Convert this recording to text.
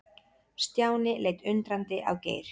Stjáni leit undrandi á Geir.